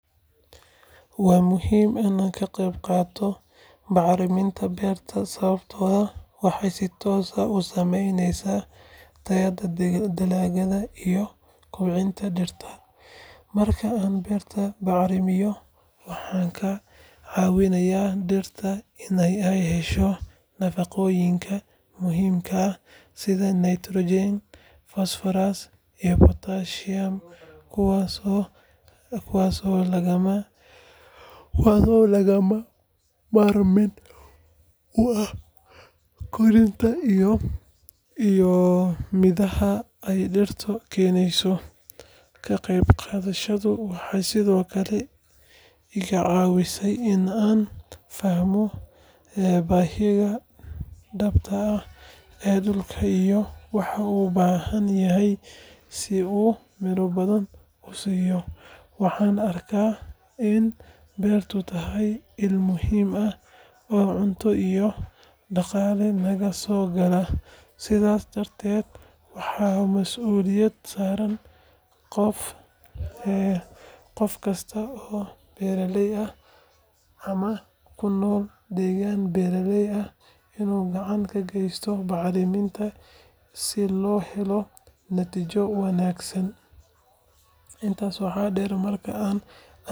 Waa muhiim in aan ka qayb qaato bacriminta beerta sababtoo ah waxay si toos ah u saameyneysaa tayada dalagga iyo koboca dhirta. Marka aan beerta bacrimiyo, waxaan ka caawinayaa dhirta in ay hesho nafaqooyinka muhiimka ah sida nitrogen, phosphorus iyo potassium kuwaas oo lagama maarmaan u ah korriimada iyo midhaha ay dhirto keeneyso. Ka qayb qaadashadayda waxay sidoo kale iga caawisaa in aan fahmo baahiyaha dhabta ah ee dhulka iyo waxa uu u baahan yahay si uu miro badan u siiyo. Waxaan arkaa in beertu tahay il muhiim ah oo cunto iyo dhaqaale naga soo gala, sidaas darteed waa mas’uuliyad saaran qof kasta oo beeraley ah ama ku nool deegaan beeraley ah inuu gacan ka geysto bacriminta si loo helo natiijo wanaagsan. Intaa waxaa dheer, marka aan anigu shaqadaas.